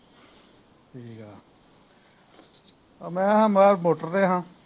ਠੀਕ ਆ ਆ ਮੈਂ ਸਾ ਮੈਂ ਮੋਟਰ ਤੇ ਸਾ